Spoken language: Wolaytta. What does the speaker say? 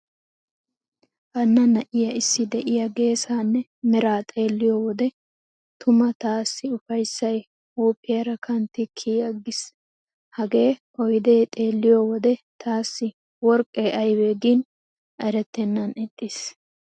Hanna na'iya issi de'iya geesaanne meraa xeelliyo wode tuma taassi ufayssay huuphphiyaara kanttidi kiyi aggiis. Hagee oyde xeelliyo wode taassi worqqe aybe gin erettennan ixxiis.